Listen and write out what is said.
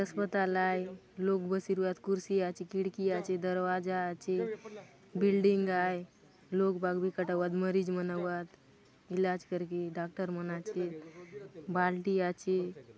ये अस्पताल आए लोग बशीर्वाद कुर्सी आ खिड़की आचे दरवाजा आचे बिल्डिंग आए लोग बाग भी कटा हुआ मरीज़ मना हुआ इलाज करके डॉक्टर मन आचे बाल्टी आ --